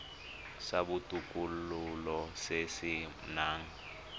sa botokololo se se nang